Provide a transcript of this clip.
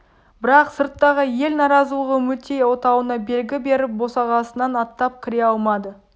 бірақ сырттағы ел наразылығы үмітей отауына белгі беріп босағасынан аттап кіре алмады